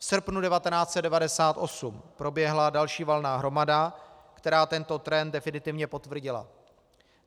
V srpnu 1998 proběhla další valná hromada, která tento trend definitivně potvrdila.